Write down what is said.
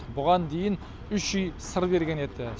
бұған дейін үш үй сыр берген еді